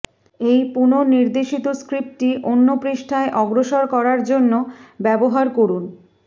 এই পুনঃনির্দেশিত স্ক্রিপ্টটি অন্য পৃষ্ঠায় অগ্রসর করার জন্য ব্যবহার করুন